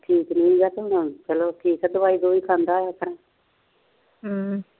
ਠੀਕ ਠੀਕ ਦਵਾਈ ਦਵੁਈ ਖਾਦਾ ਹਮ